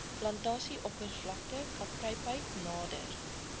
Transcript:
plantasieoppervlakte kaprypheid nader